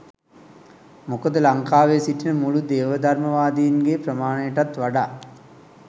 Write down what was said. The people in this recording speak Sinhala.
මොකද ලංකාවේ සිටින මුළු දේවදර්මවාදීන්ගේ ප්‍රමාණයටත් වඩා